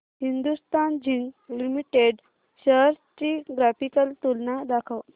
Hindustan zinc limited shares ची graphical तुलना दाखव